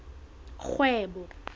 kgwebo